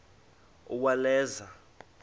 uwaleza